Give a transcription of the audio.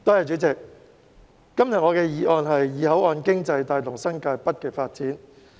主席，今天我的議案題為"以口岸經濟帶動新界北發展"。